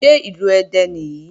Ṣé Ìlú Ẹdẹ nìyí?